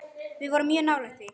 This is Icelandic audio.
Við vorum mjög nálægt því.